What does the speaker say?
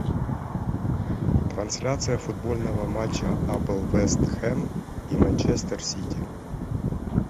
трансляция футбольного матча апл вест хэм и манчестер сити